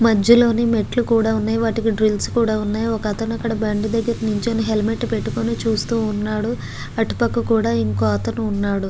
మధ్యలోనే మెట్లు కూడా ఉన్నాయి వాటికీ డ్రిల్స్ కూడా ఉన్నాయి ఒక అతను అక్కడ బండి దగ్గర నించొని హెల్మెట్ పెట్టుకొని చూస్తూన్నాడు అటుపక్కన కూడా ఒకఅతను ఉన్నాడు .